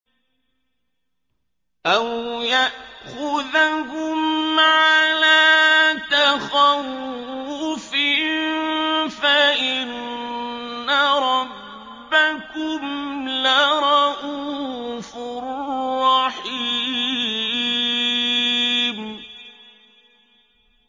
أَوْ يَأْخُذَهُمْ عَلَىٰ تَخَوُّفٍ فَإِنَّ رَبَّكُمْ لَرَءُوفٌ رَّحِيمٌ